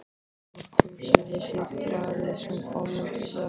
SOPHUS: Lesið blaðið sem kom út í dag.